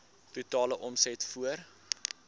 totale omset voor